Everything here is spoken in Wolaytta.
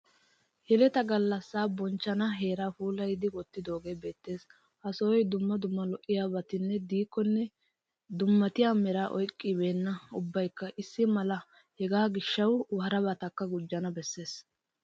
Yeleta gallassaa bonchchana heeraa puulayidi wottidoogee beettes. Ha sohoy dumma dumma lo'iyabatinne diikkonne demmatiya meraa oyqqibeenna ubbaykka issi mala hegaa gishshawu harabatakka gujjana besses.